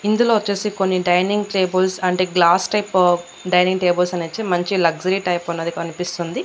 ఇందులో వచ్చేసి కొన్ని డైనింగ్ టేబుల్స్ అంటే గ్లాస్ టైప్ డైనింగ్ టేబుల్స్ అనేసి మంచి లక్సరీ టైప్ అన్నది కనిపిస్తుంది.